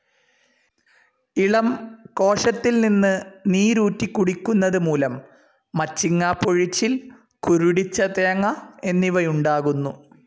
ഇളം കോശത്തിൽ നിന്ന് നീരൂറ്റികുടിയ്ക്കുന്നതു മൂലം മച്ചിങ്ങ പൊഴിച്ചിൽ കുരുടിച്ച തേങ്ങ എന്നിവയുണ്ടാകുന്നു.